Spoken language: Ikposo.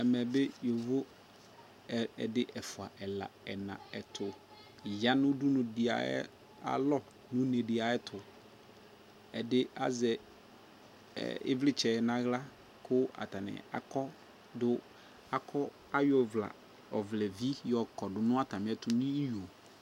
Ɛmɛ ne yovo ɛdi, ɛfuaa, ɛla ɛna, ɛto ya no udunu de ayalɔ no une de ayetoƐde azɛ evletsɛ nahla ko atane akɔ do, akɔ, ayɔ ɔvlɛla, ɔvlevi yɔ kɔdo na atame ɛto no iyo